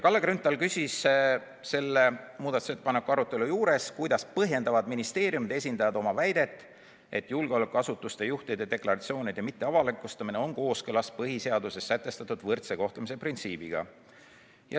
Kalle Grünthal küsis selle muudatusettepaneku arutelul, kuidas põhjendavad ministeeriumide esindajad oma väidet, et julgeolekuasutuste juhtide deklaratsiooni mitteavalikustamine on kooskõlas põhiseaduses sätestatud võrdse kohtlemise printsiibiga.